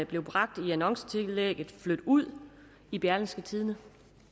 blev bragt i annoncetillægget flyt ud i berlingske tidende